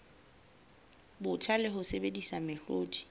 botjha le ho sebedisa mehlodi